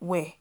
well.